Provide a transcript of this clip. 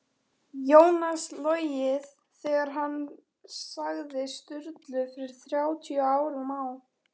Jónas logið þegar hann sagði Sturlu fyrir þrjátíu árum á